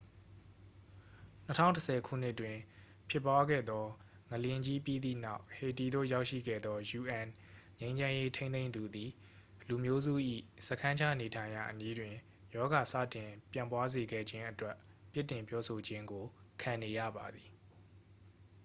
2010 ခုနှစ်တွင်ဖြစ်ပွားခဲ့သော ငလျင်ကြီးပြီးသည့်နောက် ဟေတီသို့ရောက်ရှိခဲ့သော un ငြိမ်းချမ်းရေးထိန်းသိမ်းသူသည် လူမျိုးစု၏စခန်းချနေထိုင်ရာနေရာအနီးတွင် ရောဂါစတင်ပျံ့ပွားစေခဲ့ခြင်းအတွက် ပြစ်တင်ပြောဆိုခြင်းကိုခံနေရပါသည်